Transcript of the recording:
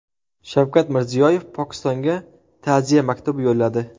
Shavkat Mirziyoyev Pokistonga ta’ziya maktubi yo‘lladi.